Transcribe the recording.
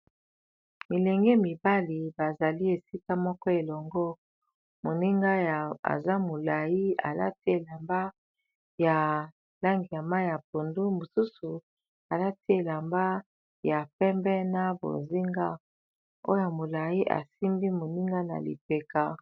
Milenge mibali bazali esika moko elongo moninga aza molai alati elamba ya langiya ma ya pondu mosusu alati elamba ya pembe na bozinga oyo molai asimbi moninga na libeka.